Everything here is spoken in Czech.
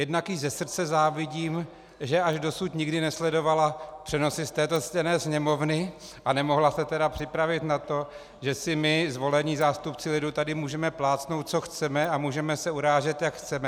Jednak jí ze srdce závidím, že až dosud nikdy nesledovala přenosy z této ctěné Sněmovny, a nemohla se tedy připravit na to, že si my, zvolení zástupci lidu, tady můžeme plácnout, co chceme, a můžeme se urážet, jak chceme.